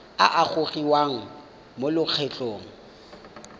a a gogiwang mo lokgethong